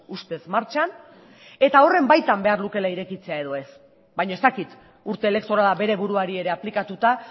ustez martxan eta horren baitan behar lukeela irekitzea edo ez baina ez dakit urte elektorala bere buruari ere aplikatuta